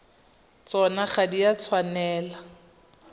tsona ga di a tshwanela